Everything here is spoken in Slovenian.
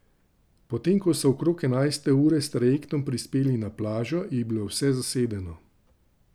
Potem ko so okrog enajste ure s trajektom prispeli na plažo, je bilo vse zasedeno.